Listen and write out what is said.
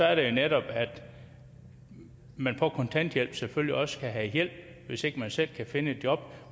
er jo netop at man på kontanthjælp selvfølgelig også skal have hjælp hvis ikke man selv kan finde et job